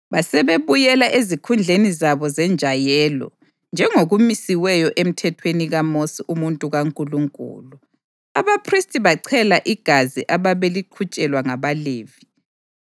Basebebuyela ezikhundleni zabo zenjayelo njengokumisiweyo emthethweni kaMosi umuntu kaNkulunkulu. Abaphristi bachela igazi ababeliqhutshelwa ngabaLevi.